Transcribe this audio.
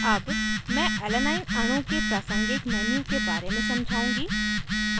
अब मैं alanine alanine अणु के प्रासंगिक menu के बारे में समझाउँगी